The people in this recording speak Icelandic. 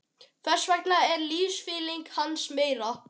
Þess vegna er lífsfylling hans meiri.